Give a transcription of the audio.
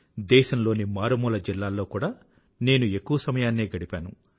దేశంలోని మారుమూల జిల్లాల్లో కూడా నేను ఎక్కువ సమయాన్నే గడిపాను